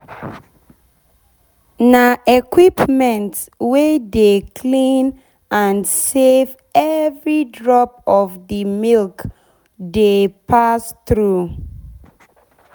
na equipment wey dey clean and safe every drop of d milk dey pass thru.